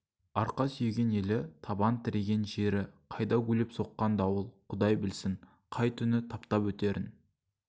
арқа сүйеген елі табан тіреген жері қайда гулеп соққан дауыл құдай білсін қай күні таптап өтерін